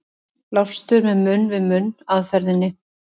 Blástur með munn-við-munn aðferðinni.